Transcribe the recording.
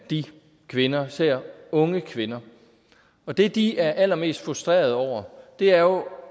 af de kvinder især unge kvinder og det de er allermest frustreret over er jo